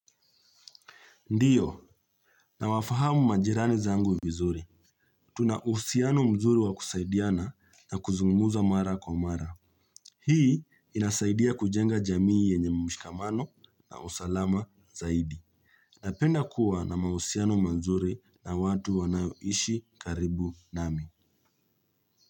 Ndiyo, na wafahamu majirani zangu vizuri. Tuna uhusiano mzuri wa kusaidiana na kuzungumuza mara kwa mara. Hii inasaidia kujenga jamii yenye mshikamano na usalama zaidi. Napenda kuwa na mahusiano mazuri na watu wanayoishi karibu nami.